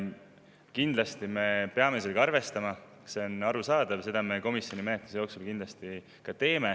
Kindlasti me peame sellega arvestama, see on arusaadav, ja seda me komisjoni menetluse jooksul kindlasti ka teeme.